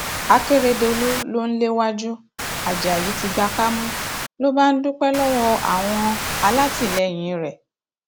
akérèdọlù ló ń léwájú ajayi ti gba kámú ló bá ń dúpẹ lọwọ àwọn alátìlẹyìn rẹ